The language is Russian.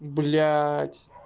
блядь